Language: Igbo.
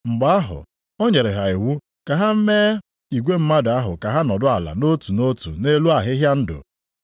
Mgbe ahụ o nyere ha iwu ka ha mee igwe mmadụ ahụ ka ha nọdụ ala nʼotu nʼotu nʼelu ahịhịa ndụ.